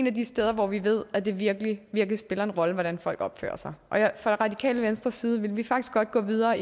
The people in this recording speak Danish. af de steder hvor vi ved at det virkelig virkelig spiller en rolle hvordan folk opfører sig fra radikale venstres side vil vi faktisk godt gå videre